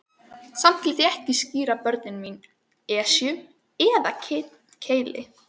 Samt léti ég ekki skíra börnin mín Esju eða Keili.